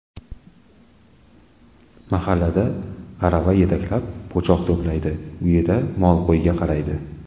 Mahallada arava yetaklab, po‘choq to‘playdi, uyidagi mol-qo‘yga qaraydi.